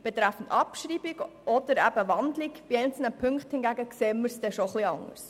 Betreffend Abschreibung oder eben Umwandlung einzelner Ziffern in ein Postulat sehen wir es jedoch etwas anders.